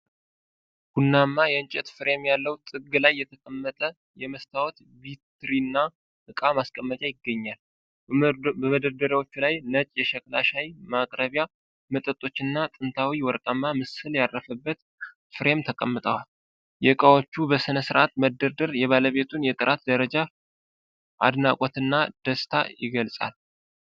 ቡናማ የእንጨት ፍሬም ያለው ጥግ ላይ የተቀመጠ የመስታወት ቪትሪና ዕቃ ማስቀመጫ ይገኛል። በመደርደሪያዎቹ ላይ ነጭ የሸክላ ሻይ ማቅረቢያ፣ መጠጦች እና ጥንታዊ ወርቃማ ምስል ያረፈበት ፍሬም ተቀምጠዋል። የዕቃዎቹ በሥርዓት መደርደር የባለቤቱን የጥራት ደረጃ አድናቆትና ደስታ ይገልጻል።